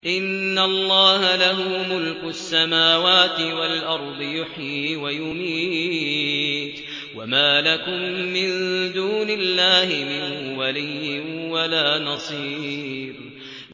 إِنَّ اللَّهَ لَهُ مُلْكُ السَّمَاوَاتِ وَالْأَرْضِ ۖ يُحْيِي وَيُمِيتُ ۚ وَمَا لَكُم مِّن دُونِ اللَّهِ مِن وَلِيٍّ وَلَا نَصِيرٍ